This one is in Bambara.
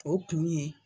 O kun ye